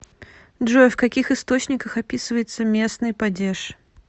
джой в каких источниках описывается местный падеж